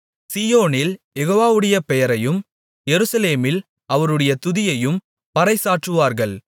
சீயோனில் யெகோவாவுடைய பெயரையும் எருசலேமில் அவருடைய துதியையும் பறைசாற்றுவார்கள்